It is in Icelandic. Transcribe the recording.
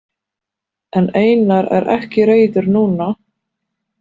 En Einar er ekki reiður núna.